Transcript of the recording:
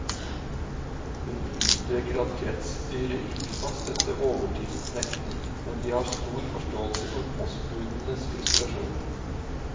Hun understreker at kretsstyret ikke kan støtte overtidsnekten, men de har stor forståelse for postbudenes frustrasjon.